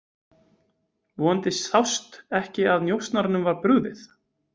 Vonandi sást ekki að njósnaranum var brugðið.